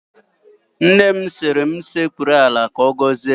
Nne m sịrị m sekpuru ala ka ọ gọzie m